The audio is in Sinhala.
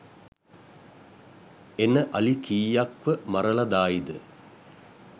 එන අලි කීයක් ව මරල දායිද?